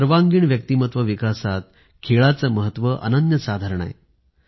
सर्वांगीण व्यक्तिमत्व विकासात खेळाचे महत्व अन्यसाधारण आहे